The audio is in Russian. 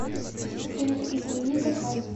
ассистент измени заказ